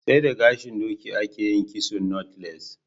sai da gashin doki a ke yin kitson "knotless"